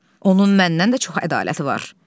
Onun məndən də çox ədaləti var.